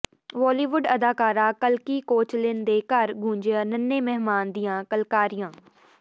ਬਾਲੀਵੁੱਡ ਅਦਾਕਾਰਾ ਕਲਕੀ ਕੋਚਲਿਨ ਦੇ ਘਰ ਗੂੰਜੀਆਂ ਨੰਨ੍ਹੇ ਮਹਿਮਾਨ ਦੀਆਂ ਕਿਲਕਾਰੀਆਂ